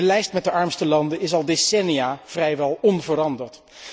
De lijst met de armste landen is al decennia vrijwel onveranderd.